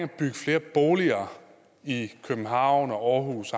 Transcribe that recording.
at bygge flere boliger i københavn og aarhus